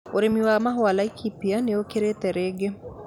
urĩmi wa mahũa Laikipia nĩukĩrite rĩngĩ